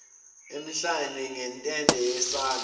emhlane ngentende yesandla